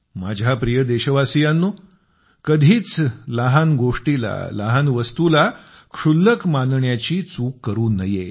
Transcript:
माझ्या प्रिय देशवासीयांनो कधीच लहान गोष्टीला लहान वस्तूला लहान क्षुल्लक मानण्याची चूक करू नये